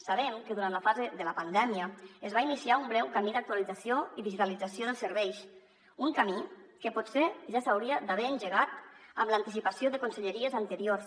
sabem que durant la fase de la pandèmia es va iniciar un breu camí d’actualització i digitalització dels serveis un camí que potser ja s’hauria d’haver engegat amb l’anticipació de conselleries anteriors